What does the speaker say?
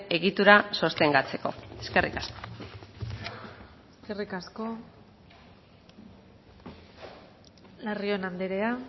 egitura sostengatzeko eskerrik asko eskerrik asko larrion andrea